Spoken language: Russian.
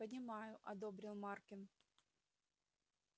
понимаю одобрил маркин